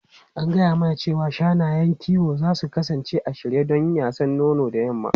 An gaya mana cewa shanayen kiwo za su kasance a shirye don yasan nono da yamma.